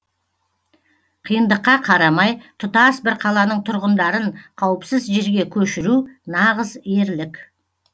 қиындыққа қарамай тұтас бір қаланың тұрғындарын қауіпсіз жерге көшіру нағыз ерлік